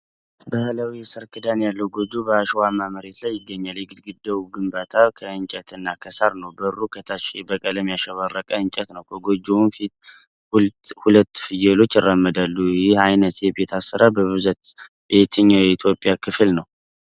ባህላዊ የሳር ክዳን ያለው ጎጆ በአሸዋማ መሬት ላይ ይገኛል። የግድግዳው ግንባታ ከእንጨትና ከሳር ነው። በሩ ከታች በቀለም ያሸበረቀ እንጨት ነው። ከጎጆው ፊት ሁለት ፍየሎች ይራመዳሉ። ይህ አይነቱ የቤት አሠራር በብዛት የትኛው የኢትዮጵያ ክፍል ነው?